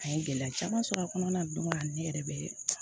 A ye gɛlɛya caman sɔrɔ a kɔnɔna na don dɔ ne yɛrɛ bɛ